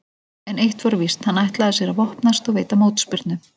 En eitt var víst, hann ætlaði sér að vopnast og veita mótspyrnu.